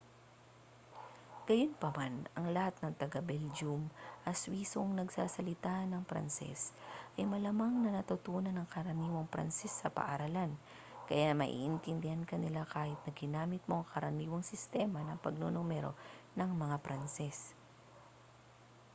gayunpaman ang lahat ng taga-belgium at swisong nagsasalita ng pranses ay malamang na natutunan ang karaniwang pranses sa paaralan kaya maiintindihan ka nila kahit na ginamit mo ang karaniwang sistema ng pagnunumero ng mga pranses